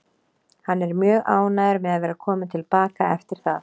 Hann er mjög ánægður með að vera kominn til baka eftir það.